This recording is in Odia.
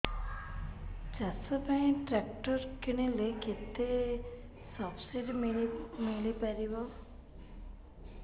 ଚାଷ ପାଇଁ ଟ୍ରାକ୍ଟର କିଣିଲେ କେତେ ସବ୍ସିଡି ମିଳିପାରିବ